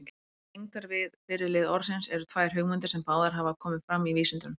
Tengdar við fyrri lið orðsins eru tvær hugmyndir, sem báðar hafa komið fram í vísindunum.